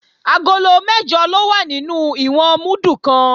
Agolo mẹ́jọ ló wà nínú ìwọ̀n múdù kan